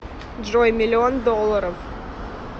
джой миллион долларов